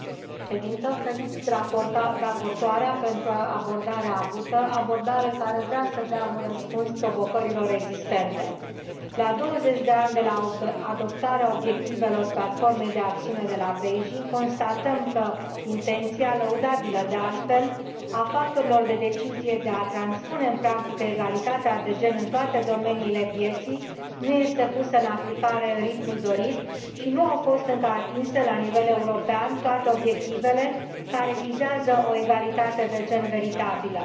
Doamnă președinte, felicit raportoarea pentru abordarea avută, abordare care vrea să dea un răspuns provocărilor existente. La 20 de ani de la adoptarea obiectivelor Platformei de acțiune de la Beijing constatăm că intenția, lăudabilă de altfel, a factorilor de decizie de a transpune în practică egalitatea de gen în toate domeniile vieții nu este pusă în aplicare în ritmul dorit și nu au fost încă atinse la nivel european toate obiectivele care vizează o egalitate de gen veritabilă.